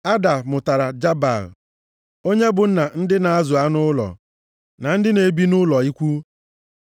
Ada mụtara Jabal, onye bụ nna ndị na-azụ anụ ụlọ, na ndị na-ebi nʼụlọ ikwu.